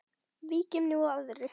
Víkjum nú að öðru.